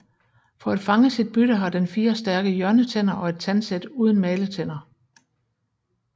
For at fange sit bytte har den fire stærke hjørnetænder og et tandsæt uden maletænder